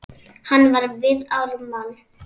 Hann var við Ármann.